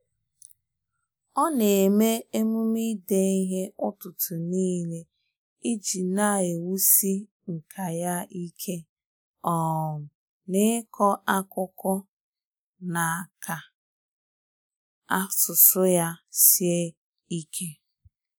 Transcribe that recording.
ọ na eme omume ide ihe ụtụtụ nile, iji na ewusi nka ya ike um n'iko akụkọ na ka asụsụ ya sie ike.